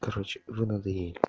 короче вы надоели